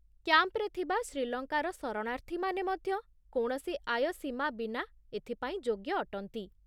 କ୍ୟାମ୍ପରେ ଥିବା ଶ୍ରୀଲଙ୍କାର ଶରଣାର୍ଥୀମାନେ ମଧ୍ୟ କୌଣସି ଆୟ ସୀମା ବିନା ଏଥିପାଇଁ ଯୋଗ୍ୟ ଅଟନ୍ତି